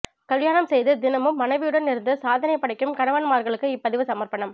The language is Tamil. கல்யாணம் செய்து தினமும் மனைவியுடன் இருந்து சாதனை படைக்கும் கணவன்மார்களுக்கு இப்பதிவு சமர்ப்பணம்